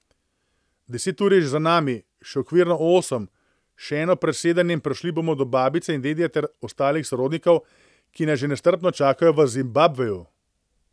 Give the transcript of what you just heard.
Deset ur je že za nami, še okvirno osem, še eno presedanje in prišli bomo do babice in dedija ter ostalih sorodnikov, ki nas že nestrpno čakajo v Zimbabveju.